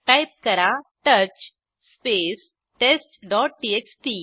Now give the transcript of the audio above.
type करा touch space test dot TXT